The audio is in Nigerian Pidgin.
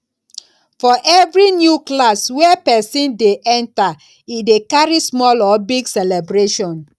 for every new class wey persin de enter e de carry small or big celebration